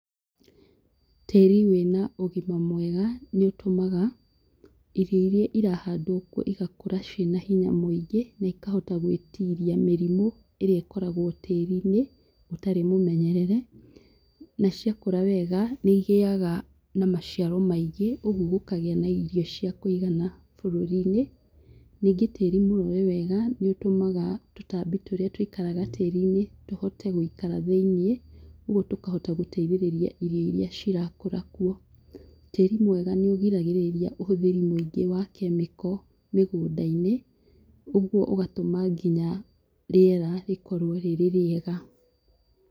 Tĩĩri wĩna ũgima mwega, nĩ ũtũmaga, irio iria irahandwo kuo igakũra ciĩna hinya mũingĩ na ikahota gũĩtiria mĩrimũ, ĩrĩa ĩkoragwo tĩĩri-inĩ ũtarĩ mũmenyerere, na ciakũra wega, nĩ igĩaga na maciaro maingĩ, ũguo gũkagĩa na irio cia kũigana bũrũri-inĩ. Ningĩ tĩĩri mũrore wega, nĩ ũtũmaga tũtambi tũrĩa tũikaraga tĩĩri-inĩ tũhote gũikara thĩiniĩ, ũguo tũkahota gũteithĩrĩria irio iria cirakũra kuo. Tĩĩri mwega nĩ ũgiragĩrĩria ũhũthĩri mũingĩ wa kemiko mĩgũnda-inĩ, ũguo ũgatũma nginya rĩera rĩkorwo rĩrĩ rĩega.